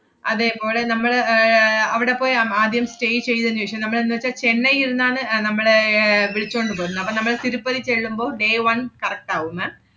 അതേപോളെ നമ്മള് ഏർ അവിടെപ്പോയി അം~ ആദ്യം stay ചെയ്തേനു ശേഷം നമ്മളെന്നുവെച്ചാ, ചെന്നൈ ഇരുന്നാണ് അഹ് നമ്മള് ഏർ വിളിച്ചോണ്ട് പോരുന്നെ. അപ്പ നമ്മള് തിരുപ്പതി ചെള്ളുമ്പോ, day one correct ആവും ma'am.